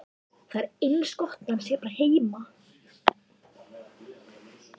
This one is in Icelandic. Það er eins gott að hann sé bara heima.